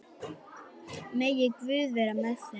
Megi Guð vera með þeim.